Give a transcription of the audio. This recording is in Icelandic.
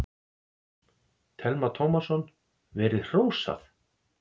Telma Tómasson: Verið hrósað?